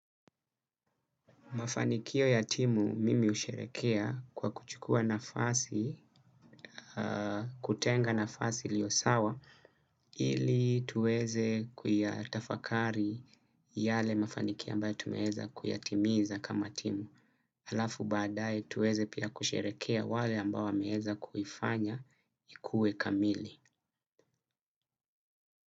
Mafanikio ya timu mimi husherekea kwa kuchukua nafasi, kutenga nafasi iliyo sawa, ili tuweze kuyatafakari yale mafanikio ambayo tumeweza kuyatimiza kama timu. Halafu badae tuweze pia kusherekea wale ambao wameweza kuifanya ikuwe kamili.